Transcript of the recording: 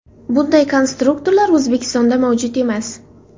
Bunday konstruktorlar O‘zbekistonda mavjud emas.